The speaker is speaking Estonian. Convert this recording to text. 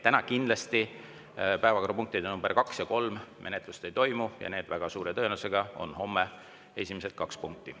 Täna kindlasti päevakorrapunktide nr 2 ja 3 menetlust ei toimu ja need on väga suure tõenäosusega homme esimesed kaks punkti.